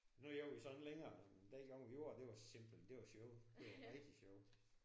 Nu gør vi så ikke længere men den gang vi gjorde det var simpelthen det var sjovt. Det var rigtig sjovt